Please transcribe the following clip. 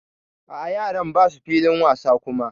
A'a yaran basu filin wasa kuma.